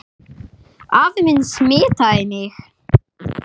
Afi minn smitaði mig.